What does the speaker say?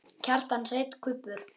Kjartan Hreinn: Kubbur?